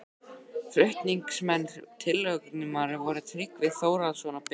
Flutningsmenn tillögunnar voru Tryggvi Þórhallsson og Benedikt